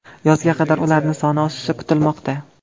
Yozga qadar ularning soni oshishi kutilmoqda.